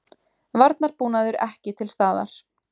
Varnarbúnaður ekki til staðar